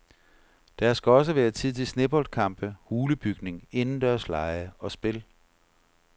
Der skal også være tid til sneboldkampe, hulebygning, indendørslege og spil.